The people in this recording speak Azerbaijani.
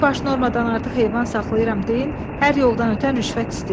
Bir-iki baş normadan artıq heyvan saxlayıram deyin, hər yoldan ötən rüşvət istəyir.